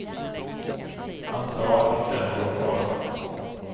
Han sa att det inte är någon fara.